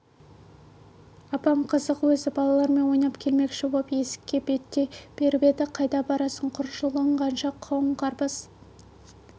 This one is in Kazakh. апам қызық өзі балалармен ойнап келмекші боп есікке беттей беріп еді қайда барасың құр жұлынғанша қауын-қарбыз